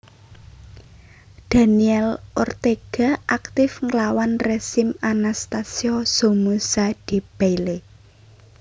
Daniel Ortega aktif nglawan rezim Anastasio Somoza Debayle